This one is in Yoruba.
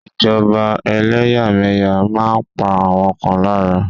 Ìjọba eléyàméyà máa n pa àwọn kan lára